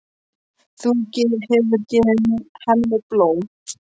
Þú hefur gefið henni blóm, var það ekki?